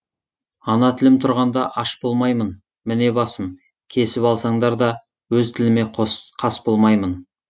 ана тілім тұрғанда аш болмаймын міне басым кесіп алсаңдар да өз тіліме қас болмаймын